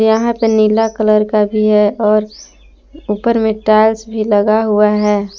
यहां पे नीला कलर का भी है और ऊपर में टाइल्स भी लगा हुआ है।